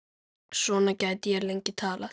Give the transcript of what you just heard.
Svona gæti ég lengi talið.